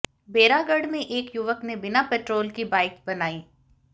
बैरागढ़ में एक युवक ने बिना पेट्रोल की बाइक बनाई